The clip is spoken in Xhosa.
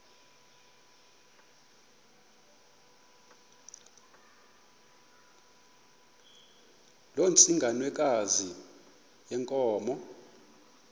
loo ntsengwanekazi yenkomo